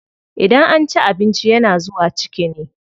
Idan an ci abinci yana zuwa ciki ne.